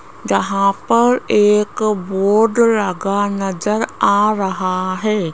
जहां पर एक बोर्ड लगा नजर आ रहा है।